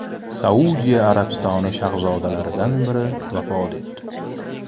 Saudiya Arabistoni shahzodalaridan biri vafot etdi.